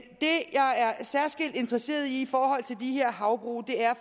særskilt er interesseret i i forhold til de her havbrug